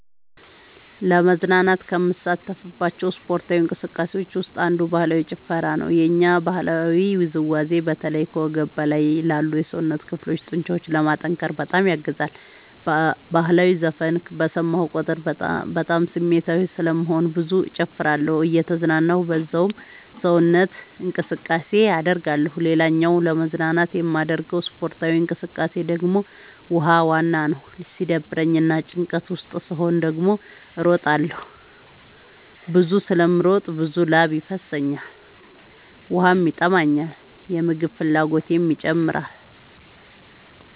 ለመዝናናት ከምሳተፍባቸው ስፓርታዊ እንቅስቃሴዎች ውስጥ አንዱ ባህላዊ ጭፈራ ነው። የኛ ባህላዊ ውዝዋዜ በተለይ ከወገብ በላይ ላሉ የሰውነት ክፍሎ ጡንቻዎችን ለማጠንከር በጣም ያግዛል። በህላዊ ዘፈን በሰማሁ ቁጥር በጣም ስሜታዊ ስለምሆን ብዙ እጨፍራለሁ እየተዝናናሁ በዛውም ሰውነት እንቅስቃሴ አደርጋለሁ። ሌላኛው ለመዝናናት የማደርገው ስፖርታዊ እንቅቃሴ ደግሞ ውሃ ዋና ነው። ሲደብረኝ እና ጭንቀት ውስጥ ስሆን ደግሞ እሮጣለሁ። ብዙ ስለምሮጥ ብዙ ላብ ይፈሰኛል ውሃም ይጠማኛል የምግብ ፍላጎቴም ይጨምራል።